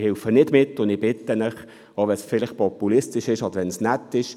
Ich helfe nicht mit, auch wenn es vielleicht populistisch oder nett ist.